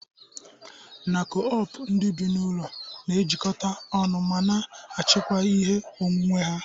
Na Co-op ndị bi n'ụlọ na-ejikọta ọnụ ma na achikwaa ihe onwunwe ha.